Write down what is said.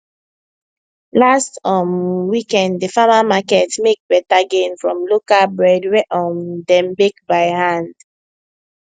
last um weekend di farmer market make better gain from local bread wey um dem bake by hand